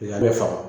A bɛ faama